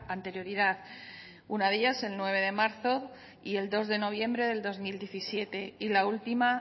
anterioridad una de ellas el nueve de marzo y el dos de noviembre del dos mil diecisiete y la última